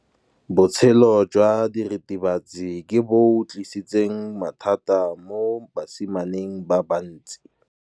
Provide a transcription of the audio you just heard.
Botshelo jwa diritibatsi ke bo tlisitse mathata mo basimaneng ba bantsi.